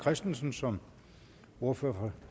christensen som ordfører for